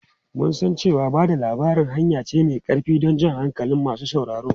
Mun san cewa ba da labari hanya ce mai ƙarfi don jan hankalin masu sauraro.